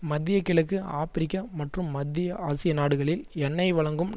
மத்தியக்கிழக்கு Africa மற்றும் மத்திய ஆசிய நாடுகளில் எண்ணெய்வழங்கும்